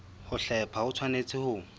ho hlepha ho tshwanetse ho